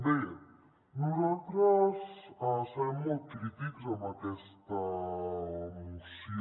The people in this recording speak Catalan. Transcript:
bé nosaltres serem molt crítics amb aquesta moció